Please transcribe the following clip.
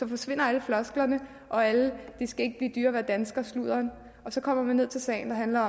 forsvinder alle flosklerne og al det skal ikke blive dyrere at være dansker sludderen så kommer man ned til sagen der handler